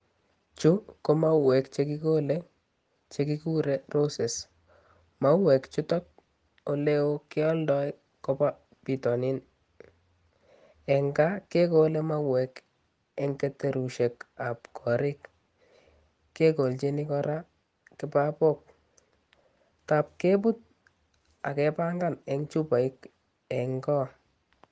Chu ko mauwek che kigoole che kiguure roses. Mauwek chuto oleo kioldoi ko ba bitonin. Eng ka kegole mawek eng keterushek ak korik. Kegoljini ko ra kipapok taap kebut ak kepangan eng chupaik eng' ko